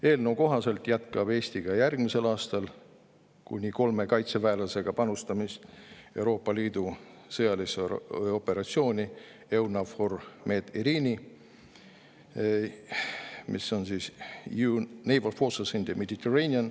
Eelnõu kohaselt jätkab Eesti ka järgmisel aastal kuni kolme kaitseväelasega panustamist Euroopa Liidu sõjalisse operatsiooni EUNAVFOR Med/Irini, mis on European Union Naval Force – Mediterranean.